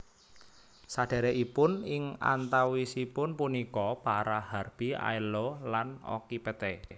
Sedhèrèkipun ing antawisipun punika para Harpi Aello lan Okypete